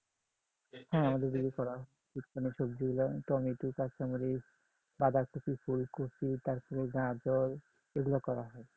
হ্যাঁ আমাদের দিকে করা হয় শীতকালীন সবজি গুলো টমেটো, কাঁচা মরিচ, বাঁধাকপি, ফুলকপি তারপরে গাজর এইগুলো করা হয় আচ্ছা আচ্ছা